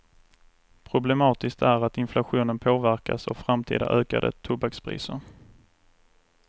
Problematiskt är att inflationen påverkas av framtida ökade tobakspriser.